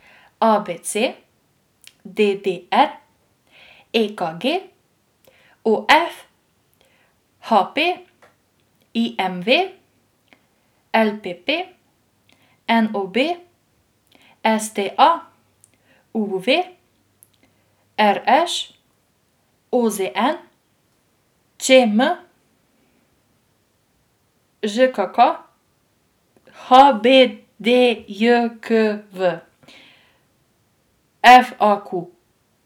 A B C; D D R; E K G; O F; H P; I M V; L P P; N O B; S T A; U V; R Š; O Z N; Č M; Ž K K; H B D J K V; F A Q.